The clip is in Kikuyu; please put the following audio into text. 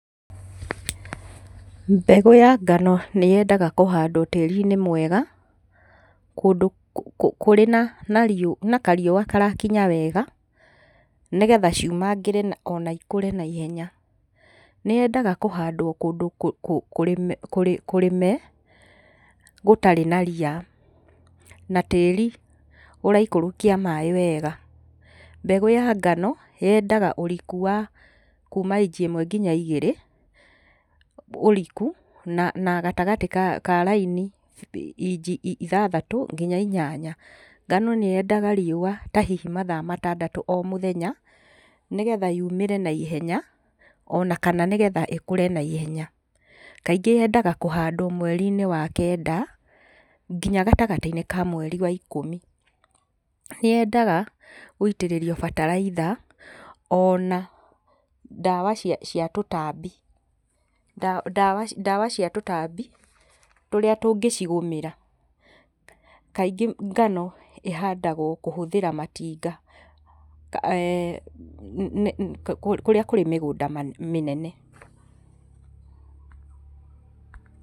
Mbegũ ya ngano nĩyendaga kũhandwo tĩri-inĩ mwega, kũndũ kũrĩ na na na kariũa karakinya wega, nĩgetha ciumangĩre ona ikũre naihenya. Nĩ yendaga kũhandwo kũndũ kũrĩme gũtarĩ na ria na tĩri ũraikũrũkia maĩ wega. Mbegũ ya ngano yendaga ũriku wa kuma inji ĩmwe kinya igĩrĩ ũrikũ na na gatagatĩ ka ka raini inji ithathatũ kinya inyanya. Ngano nĩyendaga riũa ta hihi mathaa matandatũ o mũthenya, nĩgetha yumĩre naihenya ona kana nĩgetha ĩkũre naihenya. Kaingĩ yendaga kũhandwo mweri-inĩ wa kenda kinya gatagatĩ-inĩ ka mweri wa ikũmi. Nĩyendaga gũitĩrĩrio bataraitha, ona ndawa cia cia tũtambi, ndawa cia tũtambi tũrĩa tũngĩcigũmĩra. Kaingĩ ngano ĩhandagwo kũhũthĩra matinga kũrĩa kũrĩ mĩgũnda mĩnene.